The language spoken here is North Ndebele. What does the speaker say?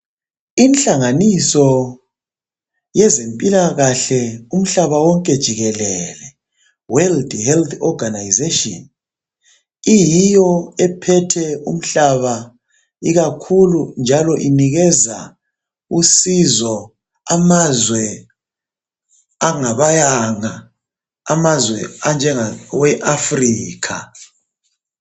Inhlanganiso yezempilakahle umhlaba wonke jikelele. World Health Organisation iyiyo ephethe umhlaba ikakhulu njalo inikeza usizo amazwe angabayanga amazwe anjengawe Africa.